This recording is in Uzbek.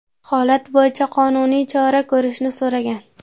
holat bo‘yicha qonuniy chora ko‘rishni so‘ragan.